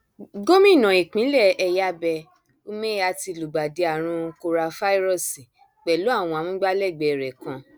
gómìnà ìpínlẹ ẹyábẹ umeha ti lùgbàdì àrùn kórafáírọọsì pẹlú àwọn amúgbálẹgbẹ rẹ kan